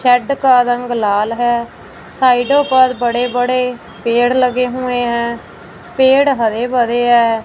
Set का रंग लाल है साइडों पर बड़े बड़े पेड़ लगे हुए हैं पेड़ हरे भरे हैं।